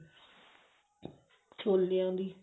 ਛੋਲਿਆਂ ਦੀ